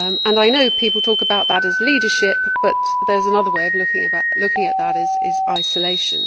I know people talk about that as leadership, but there is another way of looking at that, which is isolation.